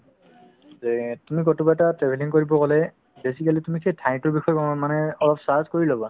যে তুমি কোনোবা এটা travelling কৰিব গ'লে basically তুমি সেই ঠাইতোৰ বিষয়ে গম অ মানে অলপ search কৰি ল'বা